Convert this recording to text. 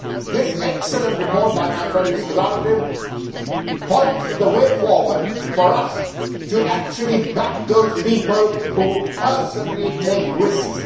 This excellent report by my friend Mr Zahradil points the way forward for us to actually back those people who personally take risks.